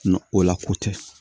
o lako tɛ